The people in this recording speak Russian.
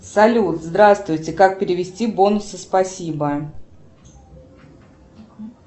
салют здравствуйте как перевести бонусы спасибо